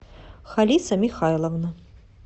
халиса михайловна